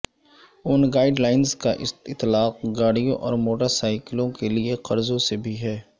ان guidelines کا اطلاق گاڑیوں اور موٹر سائکلوں کے لیے قرضوں سے بھی ہے